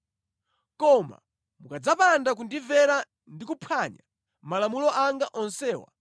“ ‘Koma mukadzapanda kundimvera ndi kuphwanya malamulo anga onsewa,